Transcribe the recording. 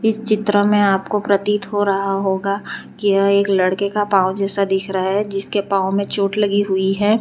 इस चित्र में आपको प्रतीत हो रहा होगा कि यह एक लड़के का पांव जैसा दिख रहा है जिसके पांव में चोट लगी हुई है।